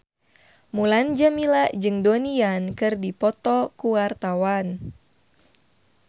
Mulan Jameela jeung Donnie Yan keur dipoto ku wartawan